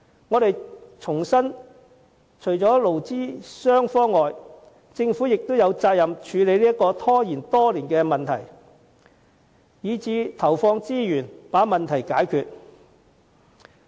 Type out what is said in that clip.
我們重申，除了勞資雙方外，政府亦有責任處理這個拖延多年的問題，甚至投放資源把問題解決。